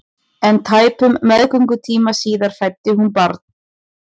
En tæpum meðgöngutíma síðar fæddi hún barn.